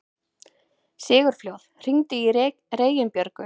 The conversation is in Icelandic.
Sigurfljóð, hringdu í Reginbjörgu.